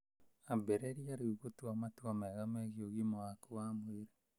Ambĩrĩrie rĩu gũtua matua mega megiĩ ũgima waku wa mwĩrĩ.